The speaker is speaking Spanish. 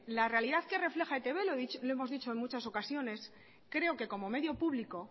la realidad que refleja e i te be lo hemos dicho en muchas ocasiones creo q como medio público